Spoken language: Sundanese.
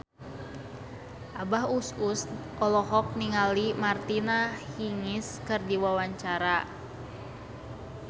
Abah Us Us olohok ningali Martina Hingis keur diwawancara